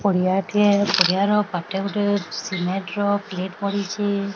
ପଡ଼ିଆଟିଏ ପଡ଼ିଆର ପାଟେ ଗୋଟେ ସିମେଣ୍ଟ ର ପ୍ଲେଟ ପଡିଚି।